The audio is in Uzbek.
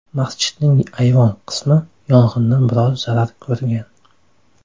Masjidning ayvon qismi yong‘indan biroz zarar ko‘rgan.